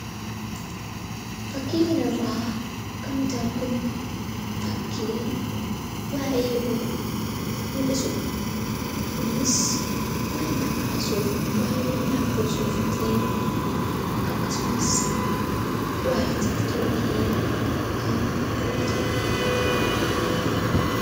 Fakkii kana irraa kan nuti arginu, fakkii waa'ee oduu muldhisudha. Kunis waa'ee maayikiroosooftii akkasumas waa'ee tiktookii kan dubbatudha.